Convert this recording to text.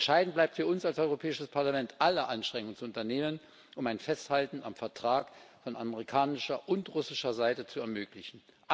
Entscheidend bleibt für uns als Europäisches Parlament, alle Anstrengungen zu unternehmen, um ein Festhalten am Vertrag von amerikanischer und russischer Seite zu ermöglichen.